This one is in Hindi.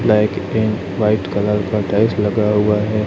ब्लैक पेंट व्हाइट कलर का टाइल्स लगा हुआ है।